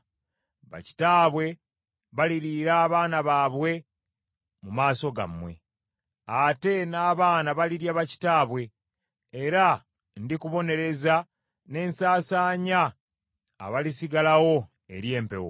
Bakitaabwe baliriira abaana baabwe mu maaso gammwe, ate n’abaana balirya bakitaabwe, era ndikubonereza ne nsasaanya abalisigalawo eri empewo.